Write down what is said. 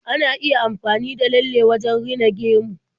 Ana iya amfani da lalle wajen rina gemu.